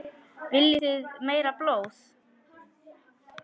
Viljið þið meira blóð?